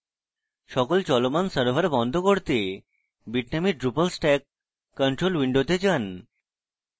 সকল চলমান servers বন্ধ করতে bitnami drupal stack control window যান